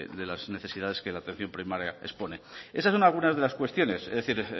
de las necesidades que la atención primaria expone esas son algunas de las cuestiones es decir